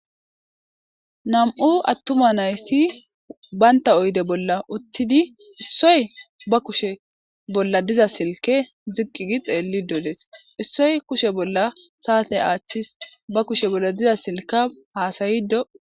Nam'u attuma nayti baynta oyde bolla uttidi issoy ba kushe bolla diza silke ziqqigi xeelli dodees issoy kushe bolla saate aaththis ba kushe bolla diza silka haasayido.